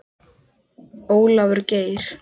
Ólafur Geir.